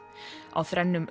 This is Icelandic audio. á þrennum